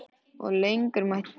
Og lengur mætti telja.